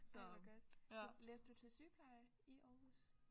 Ej hvor godt så læste du til sygepleje i Aarhus?